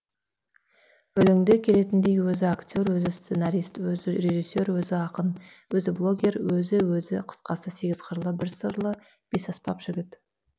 өлеңде келетіндей өзі актер өзі сценарист өзі режиссер өзі ақын өзі блогер өзі өзі қысқасы сегіз қырлы бір сырлы бес аспап жігіт